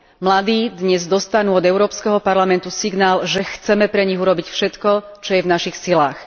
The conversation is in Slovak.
Mladí dnes dostanú od Európskeho parlamentu signál, že chceme pre nich urobiť všetko, čo je v našich silách.